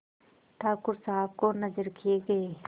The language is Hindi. ठाकुर साहब को नजर किये गये